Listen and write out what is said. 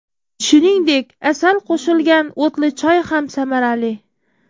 Shuningdek, asal qo‘shilgan o‘tli choy ham samarali.